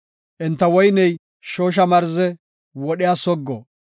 Enta woyney shoosha marze; wodhiya soggo.